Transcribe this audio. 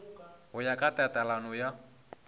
go ya ka tatelano ya